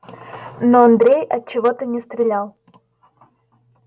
но андрей отчего-то не стрелял